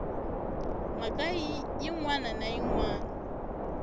mhaka yin wana na yin